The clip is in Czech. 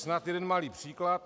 Snad jeden malý příklad.